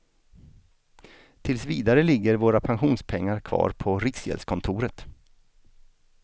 Tills vidare ligger våra pensionspengar kvar på riksgäldskontoret.